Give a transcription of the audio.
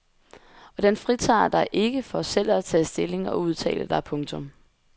Og den fritager dig ikke for selv at tage stilling og udtale dig. punktum